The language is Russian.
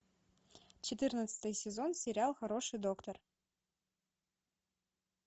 четырнадцатый сезон сериал хороший доктор